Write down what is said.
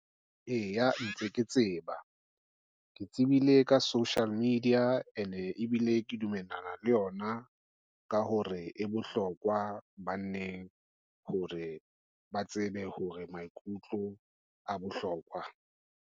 Eya ntse ke tseba, ke tsebile ka social media, and-e ebile ke dumellana le yona ka hore e bohlokwa banneng hore ba tsebe hore maikutlo a bohlokwa.